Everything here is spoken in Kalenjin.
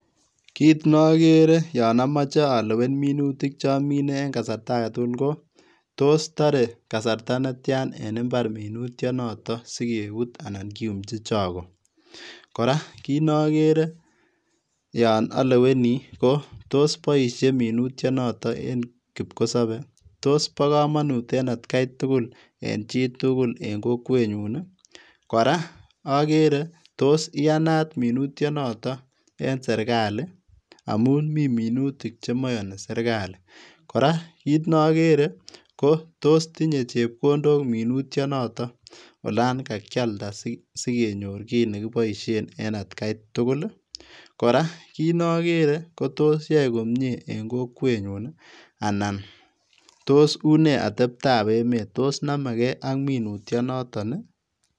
Kiit nokere yon omoche olewen minutik chomine en kasarta agetugul kotos toree kasarta netian en imbar minutionoton sikebut anan kiyumchi chokoo? Koraa kinoker yon oleweni kotos boisie minutionoton en kipkosobe? Tos boo komonut en atkaitugul en chitugul en kokwenyun? Koraa okere tos iyanat minutionoton en sirkali amun mi minutik chemoyoni sirkali? Koraa kiit nokere tos tinyee chepkondok minutionoton olan kaakialda sikenyor kiit nekiboisien en atkaitugul? Koraa kinokere kotos yoe komie en kokwenyun ii? Anan tos unee ateptaa emet tos nomekee ak minutionoton ii?